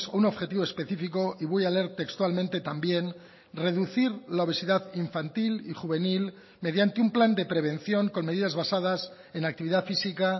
un objetivo específico y voy a leer textualmente también reducir la obesidad infantil y juvenil mediante un plan de prevención con medidas basadas en actividad física